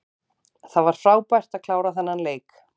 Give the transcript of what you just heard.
Það var frábært að klára þennan leik.